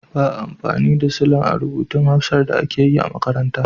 Ba a amfani da silan a rubutun Hausar da ake yi a makaranta.